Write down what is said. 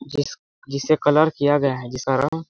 जिस जिसे कलर किया गया हैं जिसका रंग--